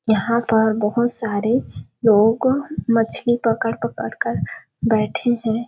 यहाँ पर बहुत सारे लोग मछली पकड़ - पकड़ कर बैठे हैं।